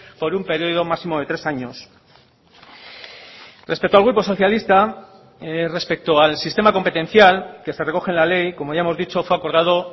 por un periodo máximo de tres años respecto al grupo socialista respecto al sistema competencial que se recoge en la ley como ya hemos dicho fue acordado